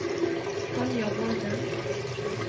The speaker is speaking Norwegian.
Tanja Volden